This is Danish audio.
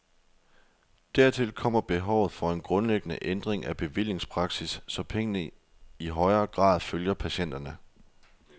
Dertil kommer behovet for en grundlæggende ændring af bevillingspraksis, så pengene i højere grad følger patienterne.